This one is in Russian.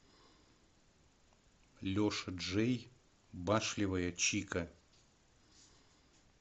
леша джей башлевая чика